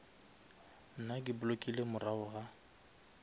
nna ke blockile morago ga